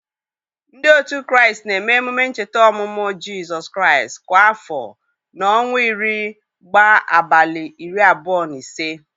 Ndị òtù Kraịst na-eme emume ncheta ọmụmụ Jizọs Kraịst kwa afọ na ọnwa iri gbá abalị iri abụọ na ise.